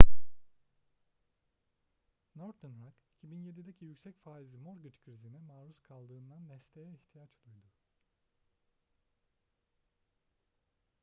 northern rock 2007'deki yüksek faizli mortgage krizine maruz kaldığından desteğe ihtiyaç duydu